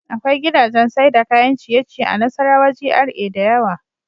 Akwai gidajan Saida kayan ciye ciye a nassarawa G.R.A dayawa